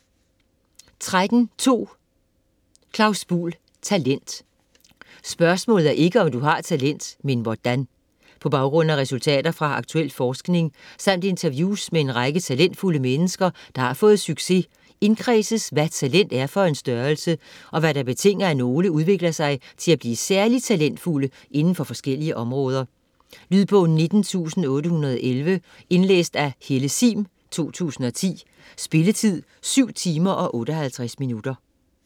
13.2 Buhl, Claus: Talent: spørgsmålet er ikke om du har talent men hvordan På baggrund af resultater fra aktuel forskning samt interviews med en række talentfulde mennesker der har fået succes, indkredses hvad talent er for en størrelse, og hvad der betinger at nogle udvikler sig til at blive særligt talentfulde indenfor forskellige områder. Lydbog 19811 Indlæst af Helle Sihm, 2010. Spilletid: 7 timer, 58 minutter.